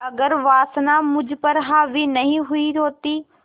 अगर वासना मुझ पर हावी नहीं हुई होती